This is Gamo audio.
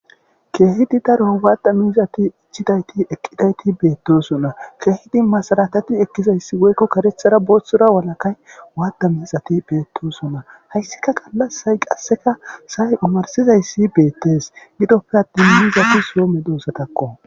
Keehidi daro waatda miizati ichidayti eqqidayti beettosonna keehidi masalakati ekkizayssi woykko karethara booththora walakay waatda miizati beettosonna hayssika qallasay qasseka say umarsizayssi beettees gidoppe attin miiizati soome doosatakko.